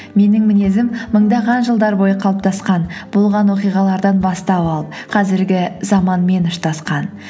менің мінезім мыңдаған жылдар бойы қалыптасқан болған оқиғалардан бастау алып қазіргі заманмен ұштасқан